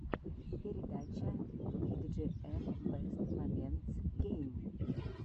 передача биджиэм бэст моментс гейм